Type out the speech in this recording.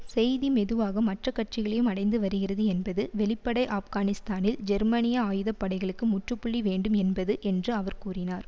செய்தி மெதுவாக மற்ற கட்சிகளையும் அடைந்து வருகிறது என்பது வெளிப்படை ஆப்கானிஸ்தானில் ஜெர்மனிய ஆயுத படைகளுக்கு முற்றுப்புள்ளி வேண்டும் என்பது என்று அவர் கூறினார்